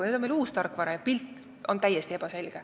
Nüüd on meil uus tarkvara, aga pilt on täiesti ebaselge.